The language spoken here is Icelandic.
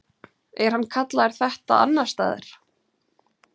Er hann kallaður þetta annars staðar?